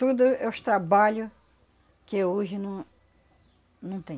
Tudo é os trabalho que hoje não não tem.